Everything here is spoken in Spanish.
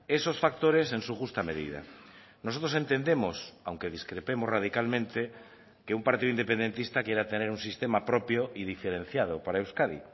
esos factores en su justa medida nosotros entendemos aunque discrepemos radicalmente que un partido independentista quiera tener un sistema propio y diferenciado para euskadi